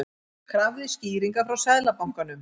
Krafðist skýringa frá Seðlabankanum